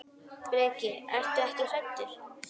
Breki: Ertu ekkert hræddur?